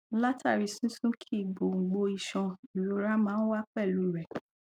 látàrí sísúnkì gbòǹgbò iṣan ìrora máa ń wá pẹlú u rẹ